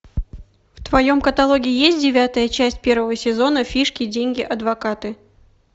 в твоем каталоге есть девятая часть первого сезона фишки деньги адвокаты